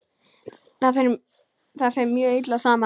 Það fer mjög illa saman.